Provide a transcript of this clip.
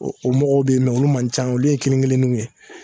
O o mɔgɔw be yen mɛ olu man ca olu ye kelen kelen nun ye